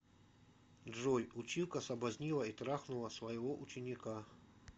джой училка соблазнила и трахнула своего ученика